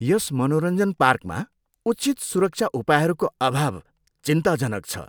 यस मनोरञ्जन पार्कमा उचित सुरक्षा उपायहरूको अभाव चिन्ताजनक छ।